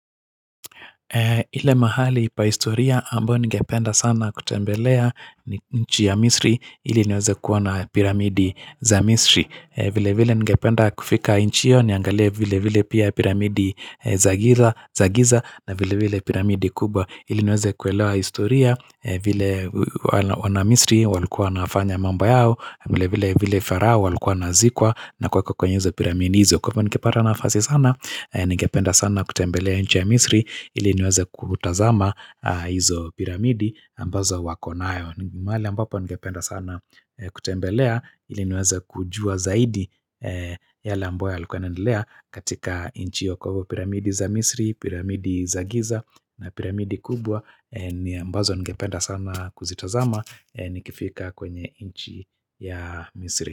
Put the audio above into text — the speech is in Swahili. Ile mahali pa historia ambayo ningependa sana kutembelea, ni nchi ya Misri ili niweze kuona piramidi za Misri. Vilevile ningependa kufika nchi hiyo niangalie vilevile pia piramidi za Giza na vilevile piramidi kubwa ili niweze kuelewa historia vile wana Misri walikuwa wanafanya mambo yao, vile vile farao alikuwa anazikwa na kwa kuekwa kwenye piramidi hizo, kwa hivyo ningepata nafasi sana, ningependa sana kutembelea nchi ya Misri ili niweze kutazama piramidi ambazo wako nayo, mahali ambapo ningependa sana kutembelea ili niweze kujua zaidi yale ambayo yalikuwa yanaendelea katika nchi hiyo, piramidi za Misri, piramidi za Giza na piramidi kubwa ni ambazo ningependa sana kuzitazama nikifika kwenye nchi ya Misri.